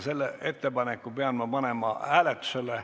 Selle ettepaneku pean ma panema hääletusele.